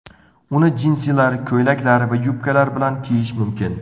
Uni jinsilar, ko‘ylaklar va yubkalar bilan kiyish mumkin.